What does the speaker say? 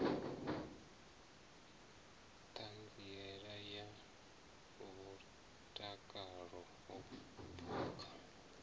ṱhanziela ya mutakalo wa phukha